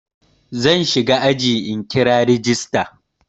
Zan shiga ajin in kira rajista.